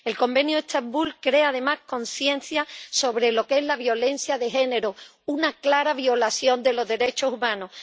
El Convenio de Estambul crea, además, conciencia sobre lo que es la violencia de género una clara violación de los derechos humanos.